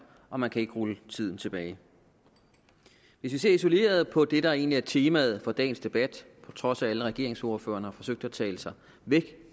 og man kan ikke rulle tiden tilbage hvis vi ser isoleret på det der egentlig er temaet for dagens debat på trods af at alle regeringsordførerne har forsøgt at tale sig væk